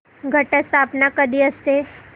घट स्थापना कधी असते